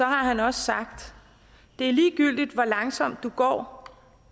har han også sagt det er ligegyldigt hvor langsomt du går